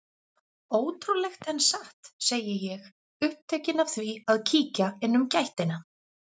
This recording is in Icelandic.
Ótrúlegt en satt, segi ég, upptekin af því að kíkja inn um gættina.